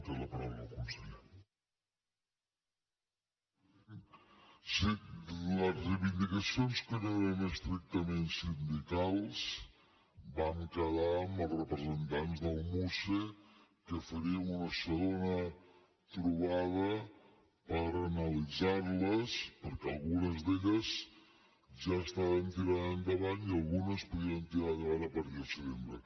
sí les reivindicacions que no eren estrictament sindicals vam quedar amb els representants del muce que faríem una segona trobada per analitzar les perquè algunes d’elles ja estaven tirant endavant i algunes les podríem tirar endavant a partir del setembre